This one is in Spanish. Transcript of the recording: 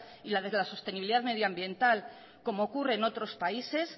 y la sostenibilidad medioambiental como ocurre en otros países